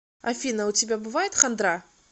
афина у тебя бывает хандра